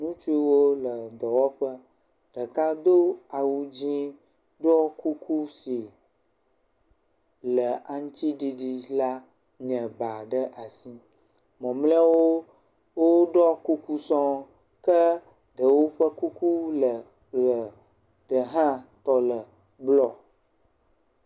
Ŋutsuwo le dɔwɔƒe, ɖeka doa wu dze, ɖɔ kuku si le aŋuti ɖiɖi la nye ba ɖe asi. Mamlɛawo woɖɔ kuku sɔŋ, Ke ɖewo ƒe kuku le ʋe, ɖe hã tɔ le blɔ.